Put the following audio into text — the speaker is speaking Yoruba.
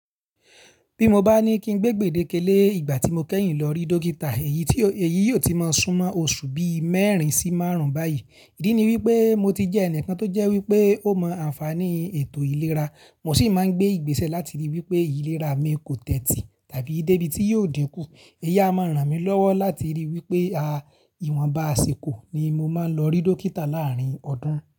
Bí mo bá ní kí n gbé ìgbéde kele ìgbà tí mo kẹ́yìn lọ rí dókítà, èyí yóò ti máa sún mọ́ oṣù bí mẹ́rin sí márùn-ún báyìí. Ìdí ni wípé mo ti jẹ́ ẹnìkan tó jẹ́ wípé ó mọ àǹfààní ètò ìlera, mo sì máa ń gbé ìgbésẹ̀ láti rí wípé ìlera mi kò tẹ́tí tàbí dé ibi tí yóò dínkú. Ẹyi máa ń ràn mí lọ́wọ́ láti rí wípé à ìwọ̀nba àsìkò ni mo máa ń lọ rí dókítà láàárín ọdún.